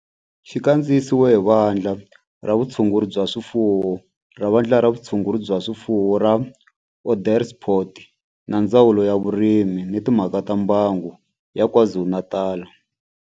Xi kandziyisiwe hi Vandla ra Vutshunguri bya swifuwo ra Vandla ra Vutshunguri bya swifuwo ra Onderstepoort na Ndzawulo ya Vurimi na Timhaka ta Mbango ya KwaZulu-Natal.